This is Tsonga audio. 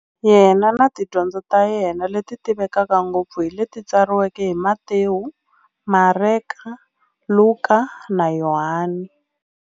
Yena na tidyondzo ta yena, leti tivekaka ngopfu hi leti tsariweke hi-Matewu, Mareka, Luka, na Yohani.